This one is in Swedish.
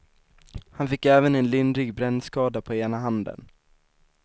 Han fick även en lindrig brännskada på ena handen.